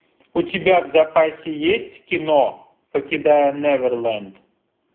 у тебя в запасе есть кино покидая неверленд